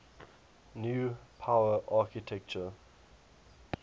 new power architecture